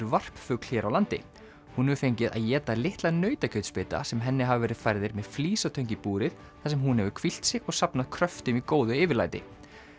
varpfugl hér á landi hún hefur fengið að éta litla sem henni hafa verið færðir með flísatöng í búrið þar sem hún hefur hvílt sig og safnað kröftum í góðu yfirlæti